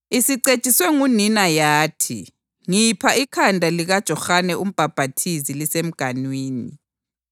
Isicetshiswe ngunina yathi, “Ngipha ikhanda likaJohane uMbhaphathizi lisemganwini.”